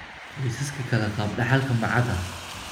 Qoysaska kale, qaabka dhaxalka ma cadda.